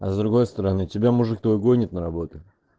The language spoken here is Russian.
а с другой стороны тебя мужик твой гонит на работу